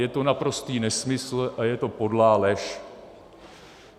Je to naprostý nesmysl a je to podlá lež.